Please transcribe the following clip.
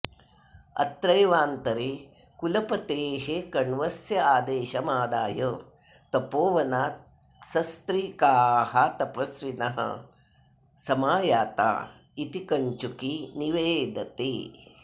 अत्रैवान्तरे कुलपतेः कण्वस्यादेशमादाय तपोवनात् सस्त्रीकाः तपस्विनः समायाता इति कञ्चुकी निवेदते